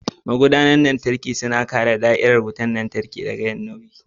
Magudanar lantarki suna kare da'irar wutar lantarki daga yin nauyi.